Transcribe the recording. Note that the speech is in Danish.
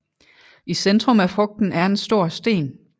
I centrum af frugten er en stor sten